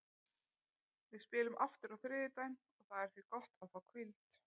Við spilum aftur á þriðjudaginn og það er því gott að fá hvíld.